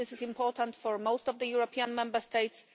This is important for most of the European Member States.